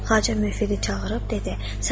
Xacə müfidə çağırıb dedi: